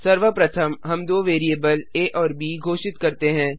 सर्वप्रथम हम दो वैरिएबल आ और ब घोषित करते हैं